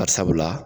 Bari sabula